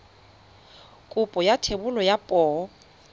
kopo ya thebolo ya poo